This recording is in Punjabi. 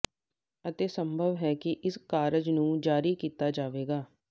ਅਤੇ ਸੰਭਵ ਹੈ ਕਿ ਇਸ ਕਾਰਜ ਨੂੰ ਜਾਰੀ ਕੀਤਾ ਜਾਵੇਗਾ